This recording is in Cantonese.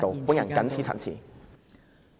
我謹此陳辭。